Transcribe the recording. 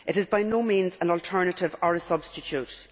It is by no means an alternative or a substitute.